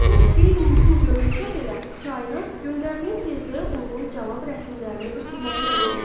Bu qeyri-mümkün görünsə belə, kainat göndərdiyin tezliyə uyğun cavab rəsmlərini ötürməyə məcburdur.